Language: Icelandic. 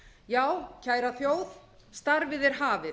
já kæra þjóð starfið er hafið